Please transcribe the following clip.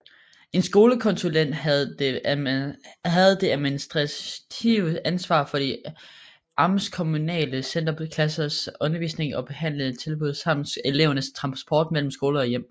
En skolekonsulent havde det administrative ansvar for de amtskommunale centerklassers undervisning og behandlingstilbud samt elevernes transport mellem skole og hjem